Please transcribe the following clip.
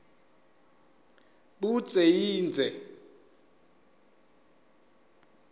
budze yindze